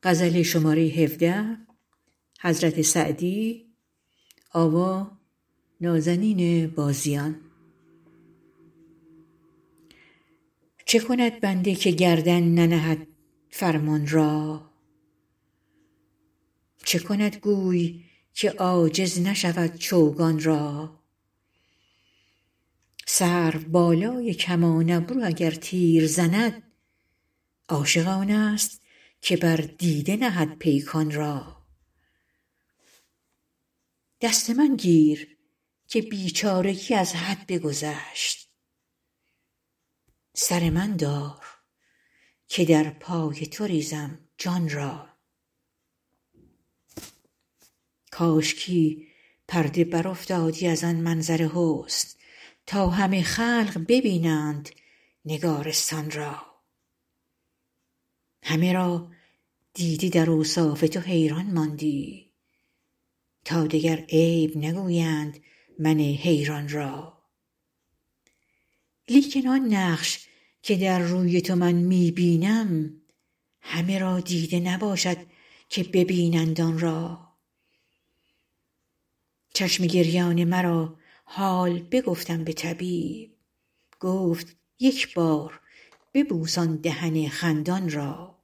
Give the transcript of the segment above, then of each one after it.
چه کند بنده که گردن ننهد فرمان را چه کند گوی که عاجز نشود چوگان را سروبالای کمان ابرو اگر تیر زند عاشق آنست که بر دیده نهد پیکان را دست من گیر که بیچارگی از حد بگذشت سر من دار که در پای تو ریزم جان را کاشکی پرده برافتادی از آن منظر حسن تا همه خلق ببینند نگارستان را همه را دیده در اوصاف تو حیران ماندی تا دگر عیب نگویند من حیران را لیکن آن نقش که در روی تو من می بینم همه را دیده نباشد که ببینند آن را چشم گریان مرا حال بگفتم به طبیب گفت یک بار ببوس آن دهن خندان را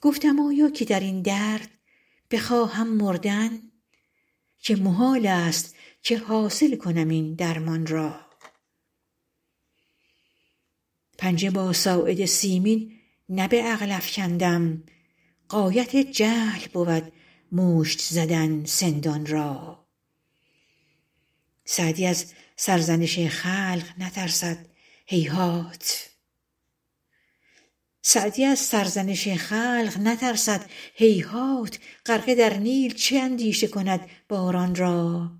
گفتم آیا که در این درد بخواهم مردن که محالست که حاصل کنم این درمان را پنجه با ساعد سیمین نه به عقل افکندم غایت جهل بود مشت زدن سندان را سعدی از سرزنش خلق نترسد هیهات غرقه در نیل چه اندیشه کند باران را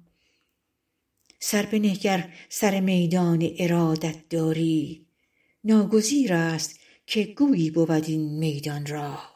سر بنه گر سر میدان ارادت داری ناگزیرست که گویی بود این میدان را